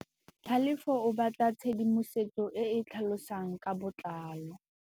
Tlhalefô o batla tshedimosetsô e e tlhalosang ka botlalô.